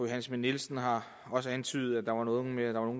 schmidt nielsen har også antydet at der var noget med at der var